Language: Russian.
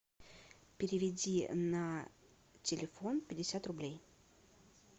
переведи на телефон пятьдесят рублей